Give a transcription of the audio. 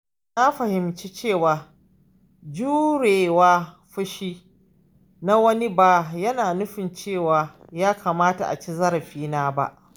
Na fahimci cewa jure wa fushi na wani ba yana nufin cewa ya kamata a ci zarafina ba.